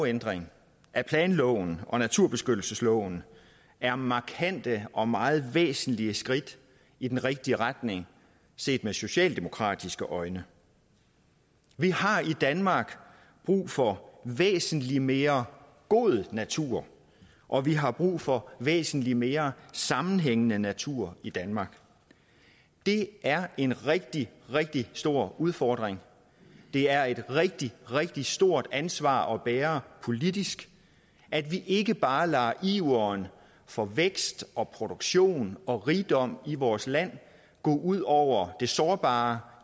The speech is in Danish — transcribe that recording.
ændringer af planloven og naturbeskyttelsesloven er markante og meget væsentlige skridt i den rigtige retning set med socialdemokratiske øjne vi har i danmark brug for væsentlig mere god natur og vi har brug for væsentlig mere sammenhængende natur i danmark det er en rigtig rigtig stor udfordring det er et rigtig rigtig stort ansvar at bære politisk at vi ikke bare lader iveren for vækst og produktion og rigdom i vores land gå ud over det sårbare